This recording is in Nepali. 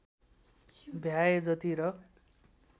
भ्याए जति र